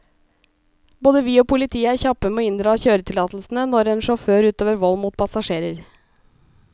Både vi og politiet er kjappe med å inndra kjøretillatelsene når en sjåfør utøver vold mot passasjerer.